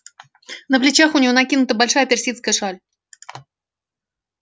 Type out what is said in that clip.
на плечах у нее накинута большая персидская шаль